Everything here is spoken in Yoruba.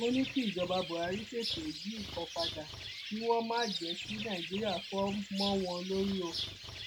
ó ní kí ìjọba buhari tètè yí nǹkan padà kí wọn má má jẹ kí nàìjíríà fò mọ wọn lórí o